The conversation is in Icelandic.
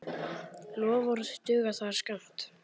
Loforð duga þar skammt.